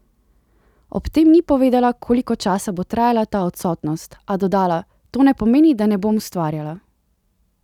Ob tem ni povedala, koliko časa bo trajala ta odsotnost, a dodala: "To ne pomeni, da ne bom ustvarjala.